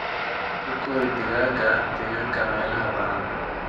Ku kori digaaga deegaanka meelaha bannaan.